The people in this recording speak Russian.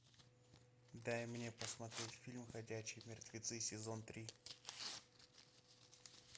дай мне посмотреть фильм ходячие мертвецы сезон три